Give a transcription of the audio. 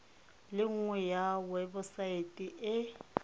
le nngwe ya webosaete e